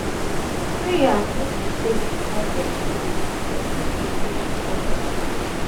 prayer no go take di problem away but if you meet professional